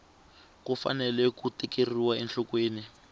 ku fanele ku tekeriwa enhlokweni